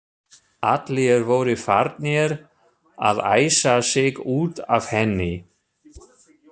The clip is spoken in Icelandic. Allir voru farnir að æsa sig út af henni.